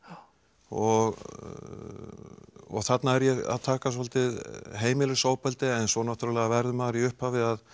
og þarna er ég að taka svolítið heimilisofbeldi en svo verður maður í upphafi að